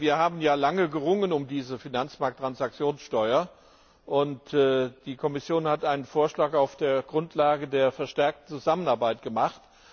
Wir haben ja lange um diese Finanztransaktionssteuer gerungen, und die Kommission hat einen Vorschlag auf der Grundlage der verstärkten Zusammenarbeit gemacht.